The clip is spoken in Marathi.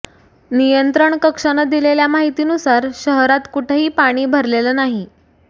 नियंत्रण कक्षानं दिलेल्या माहितीनुसार शहरात कुठंही पाणी भरलेलं नाही